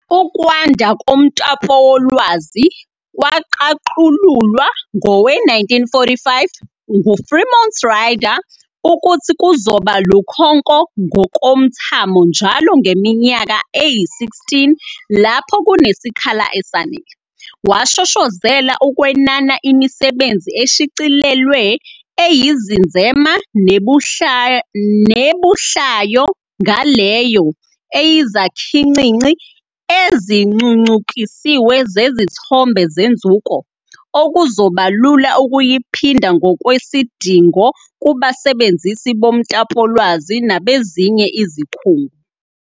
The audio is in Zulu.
Ukwanda koMtapowolwazi kwaqaqululwa ngowe-1945 nguFremont Rider ukuthi kuzoba lukhonko ngokomthamo njalo ngeminyaka eyi-16 lapho kunesikhala esanale. Washoshozela ukwenana imisebenzi eshicilelwe eyizinzema nebuhlayo ngaleyo eyizakhincinci ezincuncukisiwe zezithombe zenzuko, okuzobalula ukuyiphinda ngokwesidingo kubasebenzisi bomtapolwazi nabezinye izikhungo.